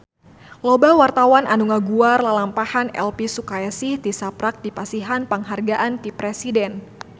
Loba wartawan anu ngaguar lalampahan Elvi Sukaesih tisaprak dipasihan panghargaan ti Presiden